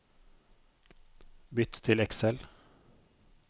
Bytt til Excel